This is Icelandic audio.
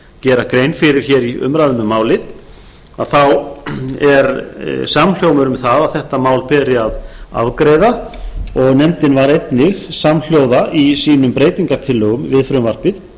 gera grein fyrir hér í umræðum um málið þá er samhljómur um það að þetta mál beri að afgreiða og nefndin var einnig samhljóða í sínum breytingartillögum við frumvarpið